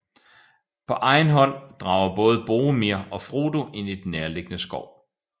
På egen hånd drager både Boromir og Frodo ind i den nærliggende skov